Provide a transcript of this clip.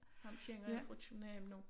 Ham kender jeg fra København af